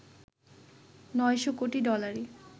৯০০ কোটি ডলারে